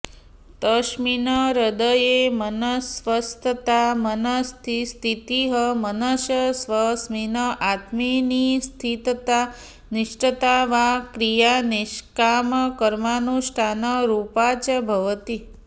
तस्मिन् हृदये मनस्स्वस्थता मनसस्थितिः मनसः स्वस्मिन् आत्मनि स्थितता निष्ठता वा क्रिया निष्कामकर्मानुष्ठानरूपा च भवति